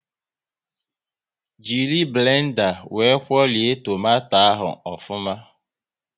Jiri blenda wee kwuorie tomato ahụ ofuma